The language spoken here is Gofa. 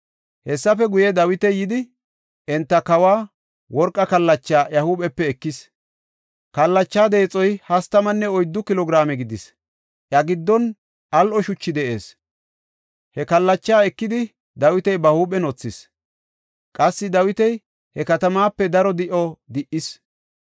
Hessafe guye, Dawiti yidi enta kawa worqa kallachaa iya huuphepe ekis. Kallacha deexoy hastamanne oyddu kilo giraame gidis; iya giddon al7o shuchi de7ees. He kallachaa ekidi Dawiti ba huuphen wothis. Qassi Dawiti he katamaape daro di7o di77is.